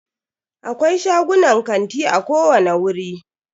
Akwai shagunan kanti a kowani wuri.